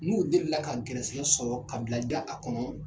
N'u delila ka gɛrɛsɛkɛ sɔrɔ kabilaja a kɔnɔ.